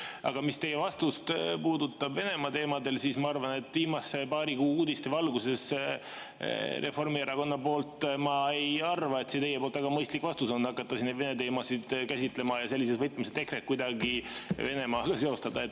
Aga mis puudutab teie vastust, Venemaa teemat, siis ma arvan, et viimase paari kuu uudiste valguses pole Reformierakonnal mõistlik hakata neid teemasid käsitlema ja sellises võtmes EKRE-t kuidagi Venemaaga seostada.